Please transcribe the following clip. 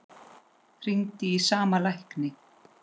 Hringdi í sama lækni